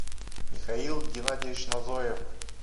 михаил геннадьевич назоев